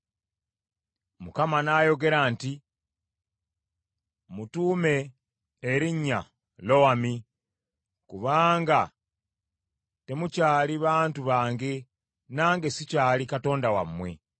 Mukama n’ayogera nti, “Mmutuume erinnya Lowami, kubanga temukyali bantu bange, nange sikyali Katonda wammwe.